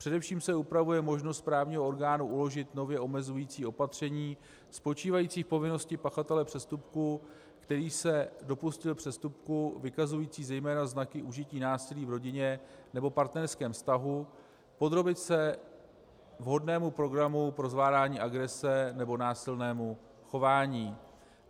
Především se upravuje možnost správního orgánu uložit nově omezující opatření spočívající v povinnosti pachatele přestupku, který se dopustil přestupku vykazujícího zejména znaky užití násilí v rodině nebo partnerském vztahu, podrobit se vhodnému programu pro zvládání agrese nebo násilnému chování.